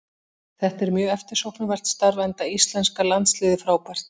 Þetta er mjög eftirsóknarvert starf enda íslenska landsliðið frábært.